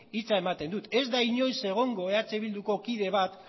hitza ematen dut ez da inoiz egongo eh bilduko kide bat